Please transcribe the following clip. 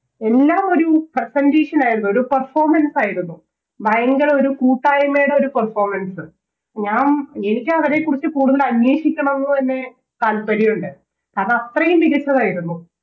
എല്ലാമൊര് Presentation ആയിരുന്നു ഒര് Performance ആയിരുന്നു ഭയങ്കര ഒരു കൂട്ടായ്മയുടെ Performance ഞാൻ എനിക്കവരെക്കുറിച്ച് കൂടുതൽ അന്വേഷിക്കണം ന്ന് തന്നെ താല്പര്യമുണ്ട് അതത്രയും മികച്ചതായിരുന്നു